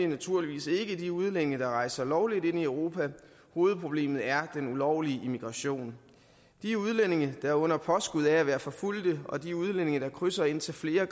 naturligvis ikke de udlændinge der rejser lovligt ind i europa hovedproblemet er den ulovlige immigration de udlændinge der under påskud af at være forfulgte og de udlændinge der krydser indtil flere